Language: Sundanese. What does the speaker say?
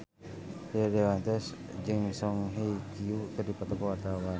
Rio Dewanto jeung Song Hye Kyo keur dipoto ku wartawan